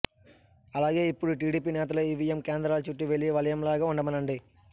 అలాగే ఇప్పుడు టీడీపీ నేతలు ఈవీఎం కేంద్రాల చుట్టూ వెళ్లి వలయంలాగా ఉండమనండి